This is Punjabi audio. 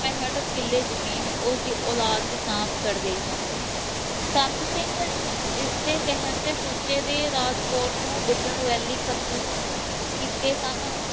ਪੈਂਹਠ ਕਿੱਲੇ ਜ਼ਮੀਨ ਉਸਦੀ ਅੋਲਾਦ ਦੇ ਨਾਮ ਚੜ੍ਹ ਗਈ ਸੀ, ਸੰਤ ਸਿੰਘ ਜਿਸਦੇ ਕਹਿਣ ਤੇ ਸੁੱਚੇ ਨੇ ਰਾਜ ਕੌਰ ਨੂੰ ਗੱਜਣ ਵੈਲੀ ਕਤਲ ਕੀਤੇ ਸਨ।